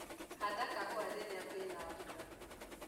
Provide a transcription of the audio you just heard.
Handa kahua rĩria kwĩna mbura.